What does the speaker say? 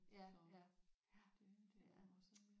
Ja ja ja det er